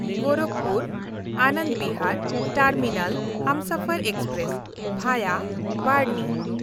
Gorakhpur-Anand Bihar terminal Humsafar express (ᱵᱷᱟᱭᱟ ᱵᱟᱨᱦᱱᱤ)